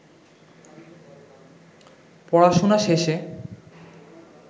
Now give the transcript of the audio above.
পড়াশুনা শেষে